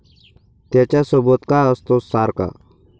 त्याच्यासोबत का असतोस सारखा?